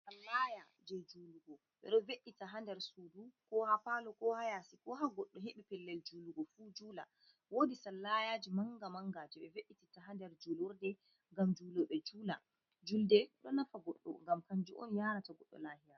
Sallaya je julugo ɓeɗo ve’ita ha nder sudu, ko ha palo, ko ha yasi ko ha goddo hebi pellel julugo fu jula wodi sallayaji manga manga je be ve'itita ha nder julurde ngam julobe jula, julde don nafa goɗɗo ngam kanju'on yarata goɗɗo lahira.